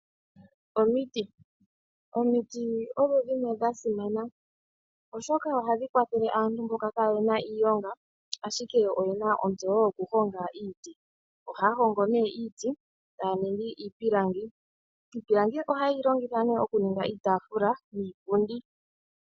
Omuti. Omuti odho dhimwe dha simana oshoka ohadhi kwathele aantu mboka kaaye na iilonga, ashike oye na ontseyo yoku honga iiti. Ohaya hongo nee iiti, etaya ningi iipilangi. Iipilangi ohaye yi longitha nee oku ninga iitaafula niipundi.